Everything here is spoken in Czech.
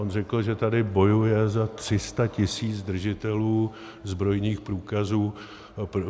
On řekl, že tady bojuje za 300 tisíc držitelů zbrojních průkazů.